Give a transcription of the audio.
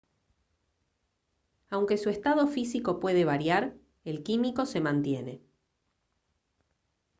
aunque su estado físico puede variar el químico se mantiene